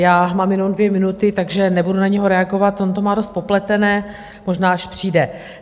Já mám jenom dvě minuty, takže nebudu na něho reagovat, on to má dost popletené, možná až přijde.